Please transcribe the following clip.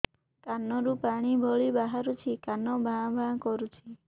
କାନ ରୁ ପାଣି ଭଳି ବାହାରୁଛି କାନ ଭାଁ ଭାଁ କରୁଛି